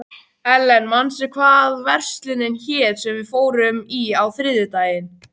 Ellen, manstu hvað verslunin hét sem við fórum í á þriðjudaginn?